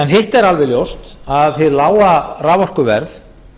hitt er alveg ljóst að hið lága raforkuverð